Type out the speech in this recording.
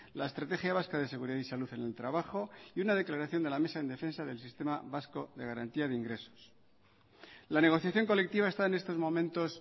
la estrategia vasca de seguridad y salud en el trabajo y una declaración de la mesa en defensa del sistema vasco de garantía de ingresos la negociación colectiva está en estos momentos